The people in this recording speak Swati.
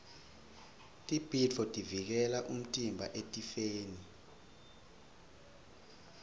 tibhidvo tivikela umtimba etifeni